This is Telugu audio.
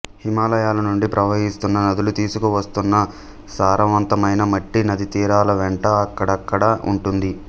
హిమాలయాల నుండి ప్రవహిస్తున్న నదులు తీసుకువస్తున్న సారవంతమైన మట్టి నదీతీరాల వెంట అక్కడడక్కడా ఉంటుంది